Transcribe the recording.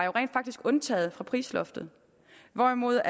undtaget fra prisloftet hvorimod